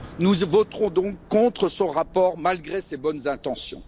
Nous voterons donc contre ce rapport, malgré ses bonnes intentions.